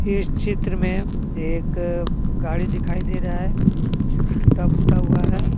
इस चित्र में एक गाड़ी दिखाई दे रहा है जोकि टूटा फूटा हुआ है।